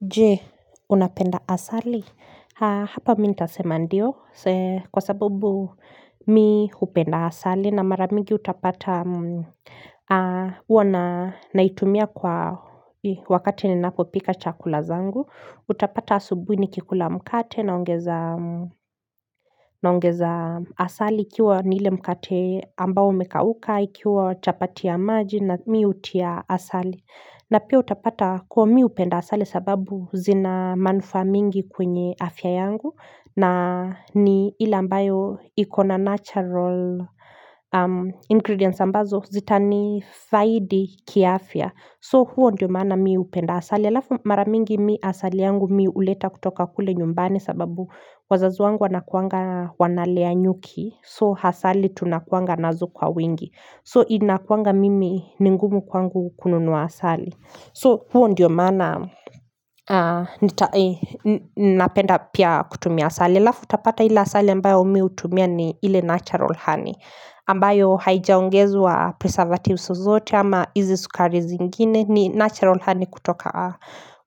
Je, unapenda asali hapa mi nitasema ndio kwa sababu mi hupenda asali na mara mingi utapata huwa naitumia kwa wakati ninapo pika chakula zangu utapata asubuni kikula mkate naongeza asali ikiwa niile mkate ambao umekauka, ikiwa chapati ya maji na mi hutia asali na pia utapata kuwa mi hupenda asali sababu zina manufaa mingi kwenye afya yangu na ni ileambayo ikona natural ingredients ambazo zita nifaidi kiafya, so huo ndio maana mi hupenda asali, alafu mara mingi mi asali yangu mi uleta kutoka kule nyumbani sababu wazazi wangu wanakuanga wanalea nyuki so hasali tunakuanga nazo kwa wingi so inakuanga mimi ni ngumu kwangu kununuwa hasali so huo ndiyo mana Napenda pia kutumia hasali halafu utapata ile asali ambayo mi utumia ni ile natural honey ambayo haijaongezwa preservatives zozote ama izi sukari zingine ni natural honey kutoka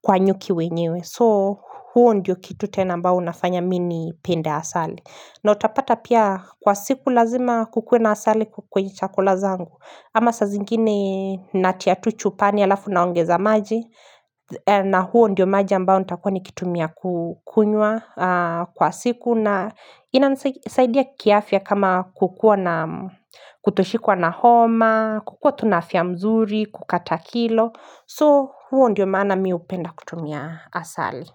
kwa nyuki wenyewe So huo ndiyo kitu tena ambao unafanya mi nipende asali na utapata pia kwa siku lazima kukue na asali kwenye chakula zangu Ama saa zingine natia tu chupani alafu naongeza maji na huo ndio maji ambao nitakua nikitumia kukunywa kwa siku na inasaidia kiafya kama kutoshikuwa na homa kukua tu na afya mzuri, kukata kilo So, huo ndiyo maana mi upenda kutumia asali.